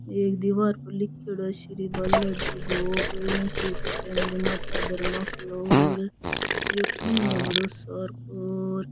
एक दिवार पर लीखेड़ो है श्री बाला जी भोग इया सेक कुछ है निर्माता धर्मा फ्लोर एक खम्भों है बड़ो सार को।